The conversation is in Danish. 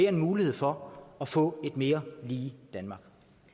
en mulighed for at få et mere lige danmark